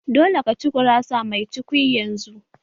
Dole ka ci gurasa mai cukwi yanzu!